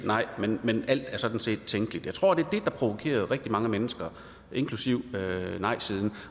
men alt er sådan set tænkeligt jeg tror det det der provokerede rigtig mange mennesker inklusive nejsiden